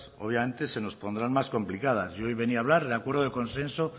obviamente se nos pondrán más complicadas yo hoy venía a hablar del acuerdo de consenso